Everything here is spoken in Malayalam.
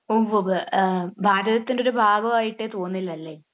ഓഹ്. ഭാരതത്തിന്റെ ഒരു ഭാഗമായിട്ടേ തോന്നില്ല അല്ലേ?